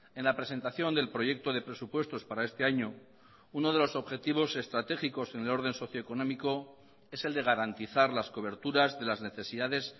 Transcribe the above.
en la presentación del proyecto de presupuestos para este año uno de los objetivos estratégicos en el orden socioeconómico es el de garantizar las coberturas de las necesidades